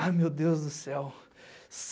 Ai, meu Deus do céu!